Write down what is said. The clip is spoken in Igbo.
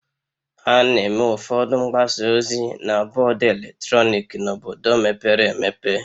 A na-eme ụfọdụ mgbasa ozi na bọọdụ eletrọnịkị n'obodo mepere emepe